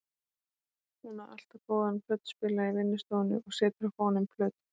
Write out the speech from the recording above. Hún á alltaf góðan plötuspilara í vinnustofunni og setur á fóninn plötur.